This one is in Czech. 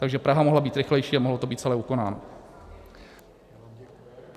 Takže Praha mohla být rychlejší a mohlo to být celé ukonáno.